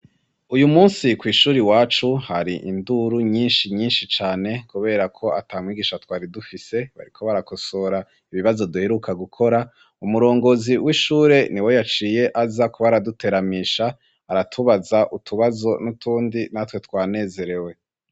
Uyu musi kw'ishure iwacu hari induru nyinshi nyinshi cane kuberako atamwigisha twari dufise bariko barakosora ibibazo duheruka gukora, umurongozi w'ishure niwe yaciye aza kuba araduteramisha aratubaza utubazo n'utundi natwe twanezerewe.